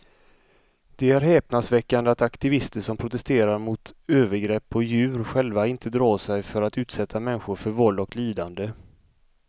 Det är häpnadsväckande att aktivister som protesterar mot övergrepp på djur själva inte drar sig för att utsätta människor för våld och lidande.